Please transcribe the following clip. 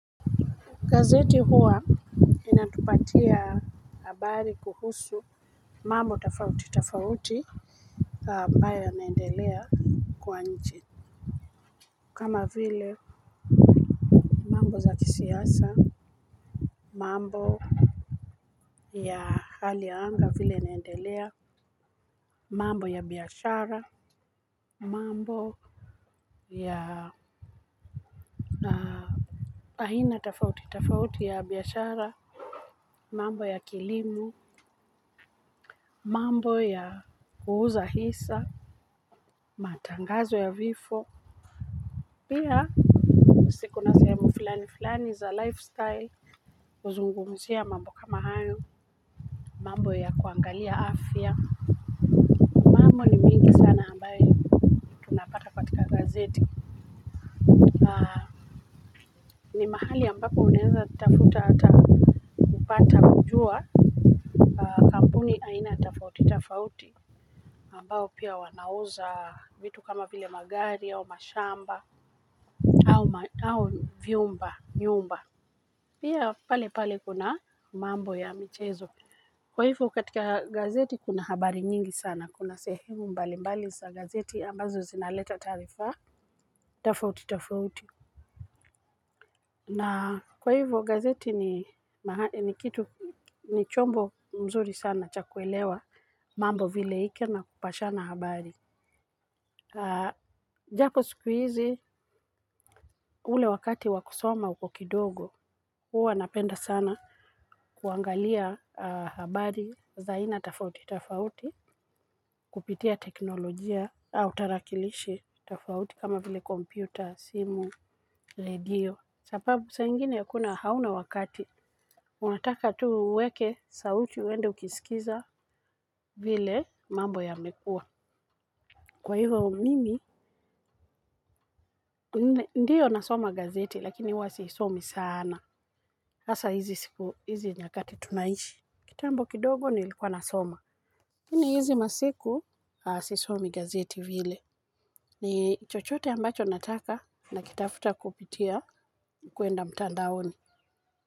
Gazeti huwa inatupatia habari kuhusu mambo tofauti tofauti ambayo yanaendelea kwa nchi. Kama vile mambo za siasa, mambo ya hali ya anga vile inaendelea. Mambo ya biashara, mambo ya sina tofauti tofauti ya biashara. Mambo ya kilimo, mambo ya kuuza hisa. Matangazo ya vifo. Pia si kuna sehemu fulani fulani za lifestyle, huzungumzia mambo kama hayo mambo ya kuangalia afya. Mambo ni mingi sana ambayo tunapata katika gazeti. Ni mahali ambapo unaweza tafuta hata kupata kujua kampuni aina tofauti tofauti ambao pia wanauza vitu kama vile magari au mashamba. Au vyumba nyumba. Pia pale pale kuna mambo ya michezo. Kwa hivyo katika gazeti kuna habari nyingi sana kuna sehemu mbalimbali za gazeti ambazo zinaleta taarifa. Tofauti tofauti na kwa hivyo gazeti ni kitu ni chombo mzuri sana cha kuelewa mambo vile ioe na kupashana habari. Japo siku hizi ule wakati wa kusoma uko kidogo huwa napenda sana kuangalia habari za aina tofauti tofauti. Kupitia teknolojia au tarakilishi tofauti kama vile kompyuta, simu, radio sababu saa ingine hakuna hauna wakati, unataka tu uweke sauti uende ukisikiza vile mambo yamekuwa. Kwa hivyo mimi ndio nasoma gazeti lakini huwa sisomi sana. Hasa hizi siku hizi nyakati tunaishi. Kitambo kidogo nilikuwa nasoma. Lakini hizi masiku sisomi gazeti vile. Ni chochote ambacho nataka nakitafuta kupitia kuenda mtandaoni.